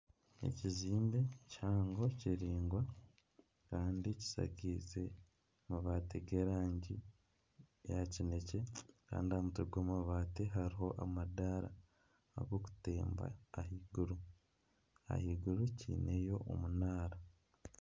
Ekizimbe kihango kiraingwa kandi kishakize amabaati g'erangi ya kinekye kandi aha mutwe gw'amabaati hariho amadaara ag'okutemba ahaiguru, ahaiguru kyineyo omunaara.